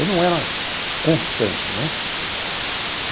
Eu não era constante, né?